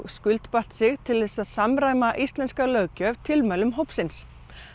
skuldbatt sig til þess að samræma íslenska löggjöf tilmælum hópsins